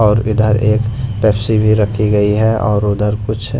और इधर एक पेप्सी भी रखी गई है और उधर कुछ--